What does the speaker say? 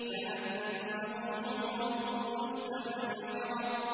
كَأَنَّهُمْ حُمُرٌ مُّسْتَنفِرَةٌ